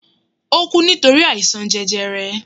O ku nitori àìsàn jẹjẹrẹ